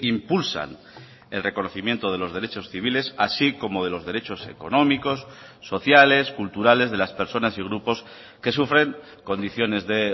impulsan el reconocimiento de los derechos civiles así como de los derechos económicos sociales culturales de las personas y grupos que sufren condiciones de